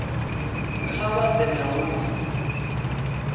kha vha ḓe na lu